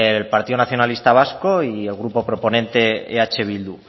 el partido nacionalista vasco y el grupo proponente eh bildu